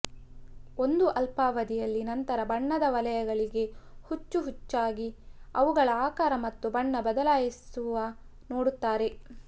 ಒಂದು ಅಲ್ಪಾವಧಿಯಲ್ಲಿ ನಂತರ ಬಣ್ಣದ ವಲಯಗಳಿಗೆ ಹುಚ್ಚು ಹುಚ್ಚಾಗಿ ಅವುಗಳ ಆಕಾರ ಮತ್ತು ಬಣ್ಣ ಬದಲಾಯಿಸುವ ನೋಡುತ್ತಾರೆ